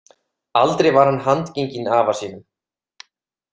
Aldrei var hann handgenginn afa sínum.